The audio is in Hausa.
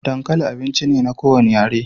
Dankali abinci ne na kowane yare